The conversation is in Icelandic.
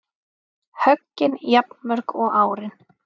Höggin jafnmörg og árin